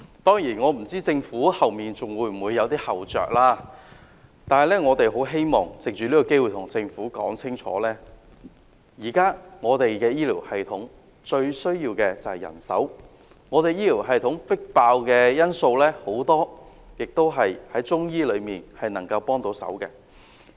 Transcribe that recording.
當然，我不知道政府往後會否還有後着，然而，我們希望藉此機會對政府說清楚，現時我們的醫療系統最需要的是人手，而有見及我們的醫療系統爆滿，很多病症也是中醫藥能夠協助治理的。